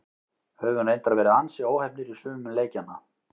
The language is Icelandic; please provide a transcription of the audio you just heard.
Höfum reyndar verið ansi óheppnir í sumum leikjanna.